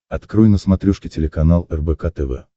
открой на смотрешке телеканал рбк тв